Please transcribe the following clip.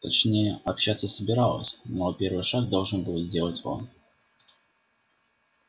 точнее общаться собиралась но первый шаг должен был сделать он